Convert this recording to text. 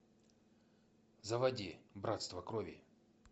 заводи братство крови